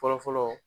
Fɔlɔ fɔlɔ